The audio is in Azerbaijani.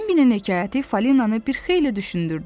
Bimbinin hekayəti Falinanı bir xeyli düşündürdü.